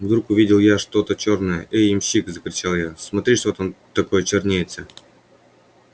вдруг увидел я что-то чёрное эй ямщик закричал я смотри что там такое чернеется